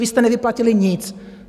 Vy jste nevyplatili nic.